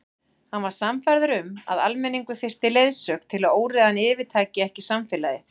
Hann var sannfærður um að almenningur þyrfti leiðsögn til að óreiðan yfirtæki ekki samfélagið.